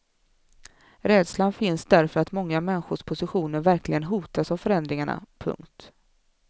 Rädslan finns därför att många människors positioner verkligen hotas av förändringarna. punkt